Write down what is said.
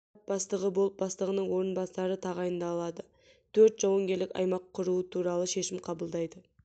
штаб бастығы болып бастығының орынбасары тағайындалады жедел штаб құрамына тапсырмалар қояды бөлімдерді жақсы басқару үшін штаб